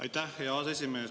Aitäh, hea aseesimees!